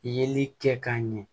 Yeli kɛ k'a ɲɛ